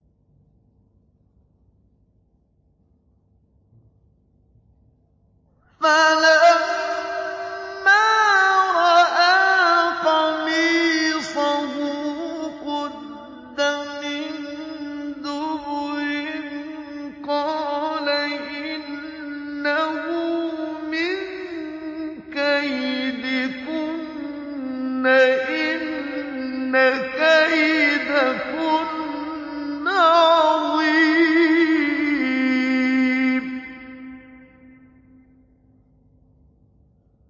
فَلَمَّا رَأَىٰ قَمِيصَهُ قُدَّ مِن دُبُرٍ قَالَ إِنَّهُ مِن كَيْدِكُنَّ ۖ إِنَّ كَيْدَكُنَّ عَظِيمٌ